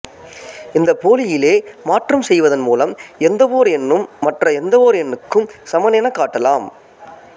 இந்தப் போலியிலே மாற்றம் செய்வதன் மூலம் எந்தவோர் எண்ணும் மற்ற எந்தவோர் எண்ணுக்கும் சமன் எனக் காட்டலாம்